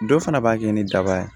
Dɔ fana b'a kɛ ni daba ye